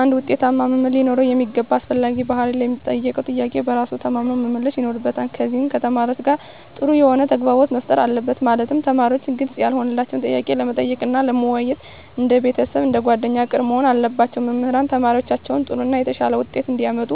አንድ ውጤታማ መምህር ሊኖረው የሚገባ አስፈላጊ ባህሪ ለሚጠየቀው ጥያቄ በራሱ ተማምኖ መመለስ ይኖርበታል ከዚም ከተማሪዎቹ ጋር ጥሩ የሆነ ተግባቦት መፍጠር አለበት ማለትም ተማሪዎች ግልጽ ያልሆነላቸውን ጥያቄ ለመጠየቅ እና ለመወያየት እንደ ቤተሰብ አንደ ጓደኛ ቅርብ መሆን አለባቸው። መምህራን ተማሪዎቻቸውን ጥሩ እና የተሻለ ውጤት እንዲያመጡ